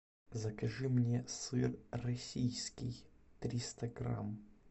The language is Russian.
закажи мне сыр российский триста грамм